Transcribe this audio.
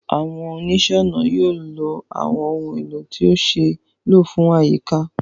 Àwọn oníṣẹ́-ọnà yóò lo àwọn ohun èlò tí ó ṣe é lò fún àyíká